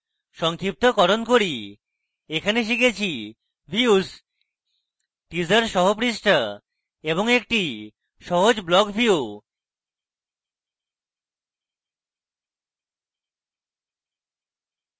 সংক্ষিপ্তকরণ করি in tutorial আমরা শিখেছি: views teaser সহ পৃষ্ঠা এবং একটি সহজ block view